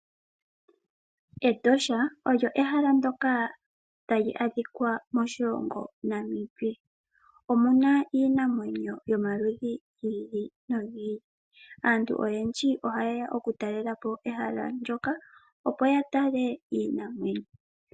Etosha olyo ehala ndoka talu adhika moshilongo Namibia. Omuna iinamwenyo yomaludhi gi ili nogi ili. Aantu oyendji oha yeya oku talelapo ehala ndoka opo yatale iinamwenyo.